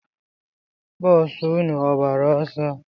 Boosu nnu ọ gbara ọsọ?